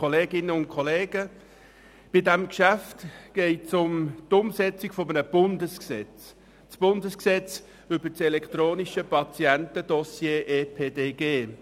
Bei diesem Geschäft geht es um die Umsetzung eines Bundesgesetzes, um die Umsetzung des EPDG.